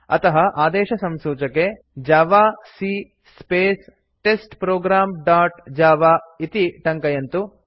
अतः आदेशसंसूचके javac space test program dot Java इत्यि टङ्कयन्तु